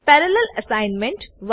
parallel assignment